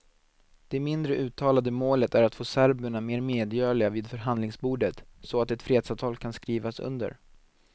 Det mindre uttalade målet är att få serberna mer medgörliga vid förhandlingsbordet, så att ett fredsavtal kan skrivas under.